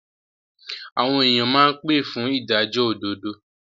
Àwọn èyàn máa pé fún ìdájọ́ òdodo.